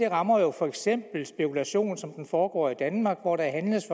rammer jo for eksempel spekulation som den der foregår i danmark hvor der handles